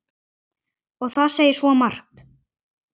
Og það segir svo margt.